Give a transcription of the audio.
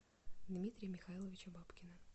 дмитрия михайловича бабкина